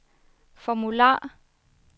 formular